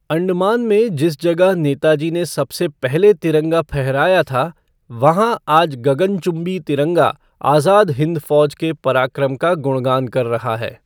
अंडमान में जिस जगह नेताजी ने सबसे पहले तिरंगा फहराया था, वहाँ आज गगन चुम्बी तिरंगा आज़ाद हिन्द फ़ौज के पराक्रम का गुणगान कर रहा है।